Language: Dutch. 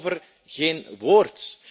En daarover geen woord.